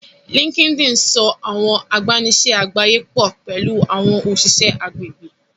Linkedin sọ àwọn agbanisiṣẹ àgbáyé pọ pẹlú àwọn òṣìṣẹ́ agbègbè